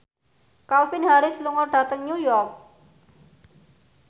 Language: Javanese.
Calvin Harris lunga dhateng New York